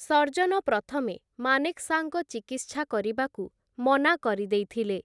surgeon ପ୍ରଥମେ ମାନେକ୍‌ଶାଙ୍କ ଚିକିତ୍ସା କରିବାକୁ ମନା କରିଦେଇଥିଲେ,